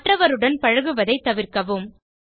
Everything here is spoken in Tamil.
மற்றவருடன் பழகுவதை தவிர்க்கவும்